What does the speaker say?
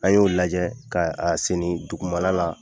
An y'o lajɛ ka a senni dugumana la